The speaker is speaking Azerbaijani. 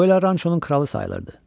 Bu elə Ranşonun kralı sayılırdı.